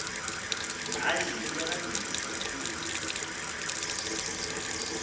hayi uyalandisa ngakumbi